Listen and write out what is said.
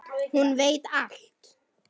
Hún veit allt.